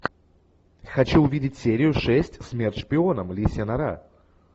хочу увидеть серию шесть смерть шпионам лисья нора